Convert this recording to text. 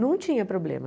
Não tinha problema.